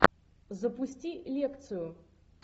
запусти лекцию